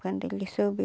Quando ele soube...